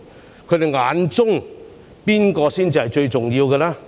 在他們眼中，誰才是最重要的呢？